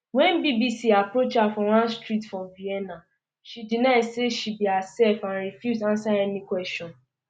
wen bbc um approach her for one street for vienna she deny um say she be hersef and refuse ansa any kwesion